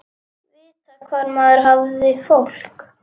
Vita hvar maður hafði fólk.